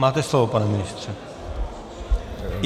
Máte slovo, pane ministře.